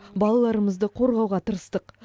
балаларымызды қорғауға тырыстық